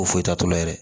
O foyi t'a tɔlo yɛrɛ